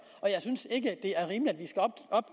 og jeg synes ikke